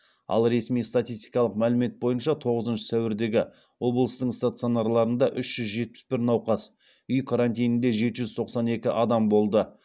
ал ресми статистикалық мәлімет бойынша тоғызыншы сәуірдегі облыстың стационарларында үш жүз жетпіс бір науқас үй карантинінде жеті жүз тоқсан екі адам болды